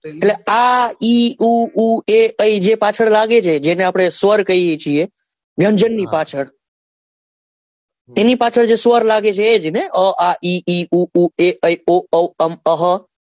એટલે આ ઈ ઈ ઊ ઓ ઊ જે પાછળ લાગે છે જેને આપડે સ્વર કહીએ છીએ વ્યંજન ની પાછળ એની પાછળ જે સ્વર લાગે છે એ જ ને અ આ ઈ ઇ ઊઊંઊમ અહ,